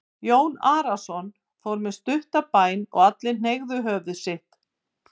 Jón Arason fór með stutta bæn og allir hneigðu höfuð sitt.